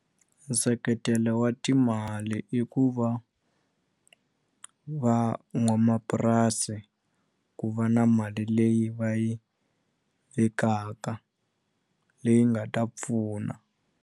Nseketelo wa timali i ku va van'wamapurasi ku va na mali leyi va yi vekaka leyi nga ta pfuna.